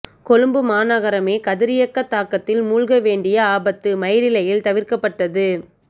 கொழும்பு மாநகரமே கதிரியக்க தாக்கத்தில் மூழ்க வேண்டிய ஆபத்து மயிரிழையில் தவிர்க்கப்பட்டது